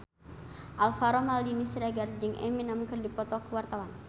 Alvaro Maldini Siregar jeung Eminem keur dipoto ku wartawan